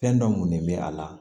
Fɛn dɔ ŋunu bɛ a la